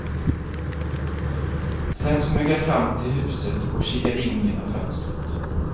Sen smög jag fram till huset och kikade in genom fönstret.